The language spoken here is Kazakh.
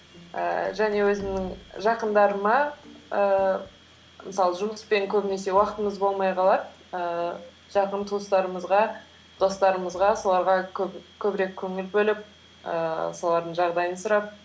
ііі және өзімнің жақындарыма ііі мысалы жұмыспен көбінесе уақытымыз болмай қалады ііі жақын туыстарымызға достарымызға соларға көбірек көңіл бөліп ііі солардың жағдайын сұрап